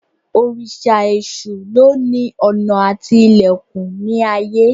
Òrìṣà Èsù lóni ọ̀nà àti ilẹ̀kùn ní ayé